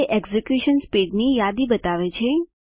તે એક્ઝીક્યુશન સ્પીડની યાદી બતાવે છે